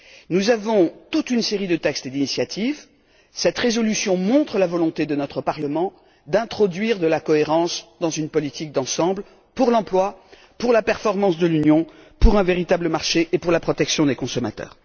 Nous avons toute une série de textes d'initiative. Cette résolution montre la volonté de notre Parlement d'introduire de la cohérence dans une politique d'ensemble pour l'emploi, pour la performance de l'Union, pour un véritable marché et pour la protection des consommateurs.